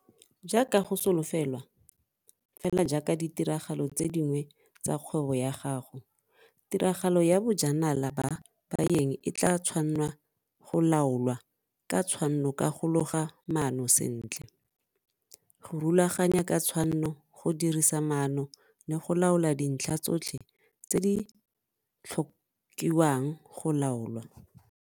Jaaka go solofelwa, fela jaaka ditiragalo tse dingwe tsa kgwebo ya gago, tiragalo ya bojanala ba baeng e tlaa tshwannwa go laolwa ka tshwanno ka go loga maano sentle, go rulaganya ka tshwanno, go dirisa maano le go laola dintlha tsotlhe tse di tlhokiwang go laolwa.